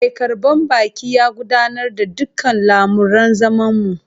Mai karbar baki ya gudanar da dukkan lamuran zamanmu